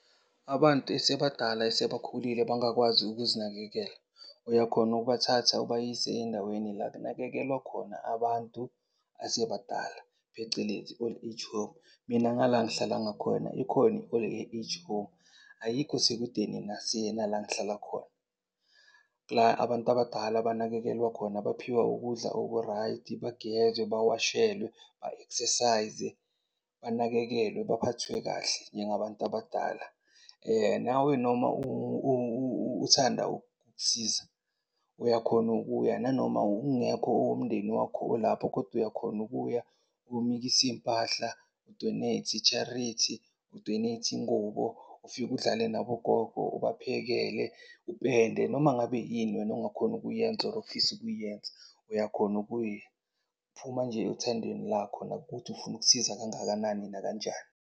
Abantu esebadala esebakhulile abangakwazi ukuzinakekela, uyakhona ukubathatha ubayise endaweni la kunakekelwa khona abantu asebadala, phecelezi i-old age home. Mina ngala ngihlala ngakhona ikhona i-old age home, ayikho sekudeni nala engihlala khona. La abantu abadala abanakekelwa khona, baphiwa ukudla okurayidi, bagezwe, bawashelwe, ba-exercise-e, banakekelwe, baphathwe kahle njengabantu abadala. Nawe noma uthanda ukusiza uyakhona ukuya nanoma ungekho owomndeni wakho olapho. Kodwa uyakhona ukuya uyomikisa iy'mpahla, u-donate, i-charity, u-donate ingubo, ufike udlale nabogogo, ubaphekele, upende. Noma ngabe yini wena ongakhona ukuyenza, or ofisa ukuyenza uyakhona ukuya. Kuphuma nje othandweni lakho nakukuthi ufuna ukusiza kangakanani, nakanjani.